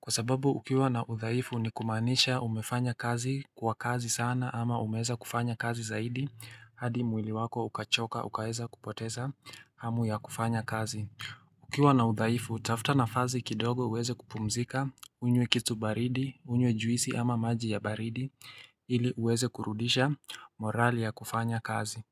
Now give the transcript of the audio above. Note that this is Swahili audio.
kwa sababu ukiwa na udhaifu ni kumaanisha umefanya kazi kwa kazi sana ama umeweza kufanya kazi zaidi hadi mwili wako ukachoka, ukaeza kupoteza hamu ya kufanya kazi Ukiwa na uthaifu, tafuta nafasi kidogo uweze kupumzika, unywe kitu baridi, unywe juisi ama maji ya baridi ili uweze kurudisha morali ya kufanya kazi.